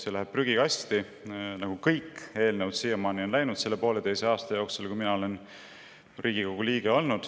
See läheb prügikasti, nii nagu siiamaani kõik eelnõud on läinud selle pooleteise aasta jooksul, mil ma olen olnud Riigikogu liige.